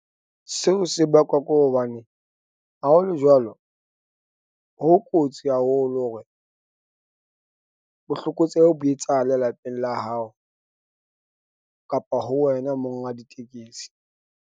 Seo se bakwa ko hobane ha ho le jwalo, ho kotsi haholo hore, botlokotsebe bo etsahale lapeng la hao kapa ho wena monga ditekesi.